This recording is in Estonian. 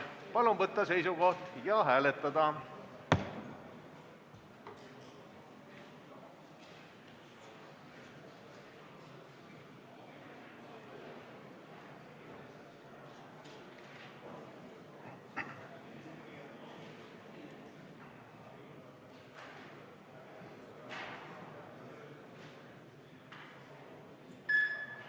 Palun võtta seisukoht ja hääletada!